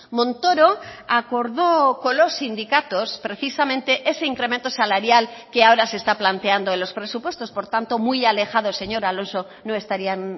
montoro acordó con los sindicatos precisamente ese incremento salarial que ahora se está planteando en los presupuestos por tanto muy alejados señor alonso no estarían